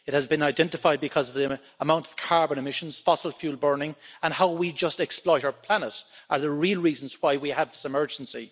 It has been identified because of the amount of carbon emissions, fossil fuel burning and how we just exploit our planet, which are the real reasons why we have this emergency.